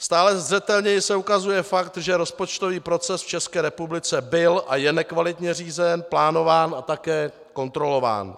Stále zřetelněji se ukazuje fakt, že rozpočtový proces v České republice byl a je nekvalitně řízen, plánován a také kontrolován.